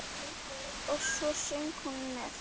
Og svo söng hún með.